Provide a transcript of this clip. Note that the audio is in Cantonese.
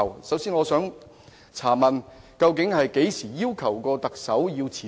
首先我想問，究竟他們何時要求過特首辭職？